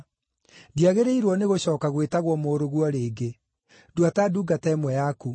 Ndĩagĩrĩirwo nĩgũcooka gwĩtagwo mũrũguo rĩngĩ; ndua ta ndungata ĩmwe yaku.’